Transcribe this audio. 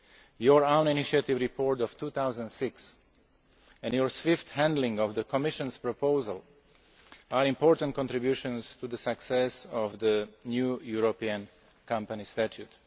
Your own initiative report of 2006 and your swift handling of the Commission's proposal are important contributions to the success of the new European Company Statute.